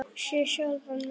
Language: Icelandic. Sé sjálfan mig.